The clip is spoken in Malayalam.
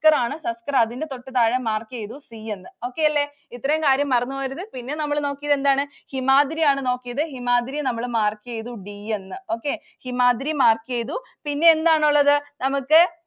~റാണ്. സസ്കര്‍ അതിന്‍റെ തൊട്ടുതാഴെ mark ചെയ്തു C യെന്ന്. Okay അല്ലേ? ഇത്രയും കാര്യം മറന്നു പോവരുത്. പിന്നെ നമ്മള് നോക്കിയതെന്താണ്? ഹിമാദ്രി ആണ് നോക്കിയത്? ഹിമാദ്രിയെ നമ്മൾ mark ചെയ്തു D യെന്ന്. Okay. ഹിമാദ്രി mark ചെയ്തു. പിന്നെയെന്താണുള്ളത്? നമുക്ക്